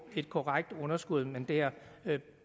et korrekt underskud man der